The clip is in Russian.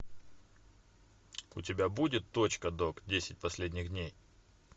у тебя будет точка док десять последних дней